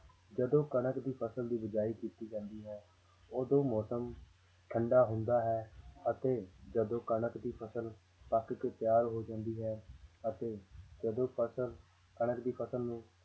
ਜਦੋਂ ਕਣਕ ਦੀ ਫ਼ਸਲ ਦੀ ਬੀਜਾਈ ਕੀਤੀ ਜਾਂਦੀ ਹੈ ਉਦੋਂ ਮੌਸਮ ਠੰਢਾ ਹੁੰਦਾ ਹੈ ਅਤੇ ਜਦੋਂ ਕਣਕ ਦੀ ਫ਼ਸਲ ਪੱਕ ਕੇ ਤਿਆਰ ਹੋ ਜਾਂਦੀ ਹੈ ਅਤੇ ਜਦੋਂ ਫ਼ਸਲ ਕਣਕ ਦੀ ਫ਼ਸਲ ਨੂੰ